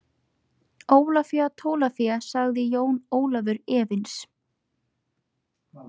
Ólafía Tólafía, sagði Jón Ólafur efins.